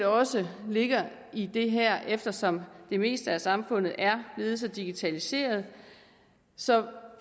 også ligger i det her eftersom det meste af samfundet er blevet så digitaliseret så